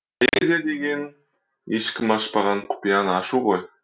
поэзия деген ешкім ашпаған құпияны ашу ғой